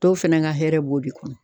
Dɔw fɛnɛ ka hɛrɛ b'o de kɔnɔ.